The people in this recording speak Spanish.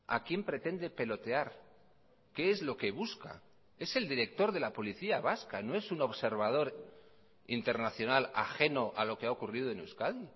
a quién pretende pelotear qué es lo que busca es el director de la policía vasca no es un observador internacional ajeno a lo que ha ocurrido en euskadi